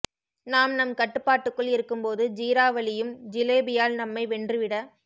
நாம் நம் கட்டுப்பாட்டுக்குள் இருக்கும்போது ஜீரா வழியும் ஜிலேபியால் நம்மை வென்று விட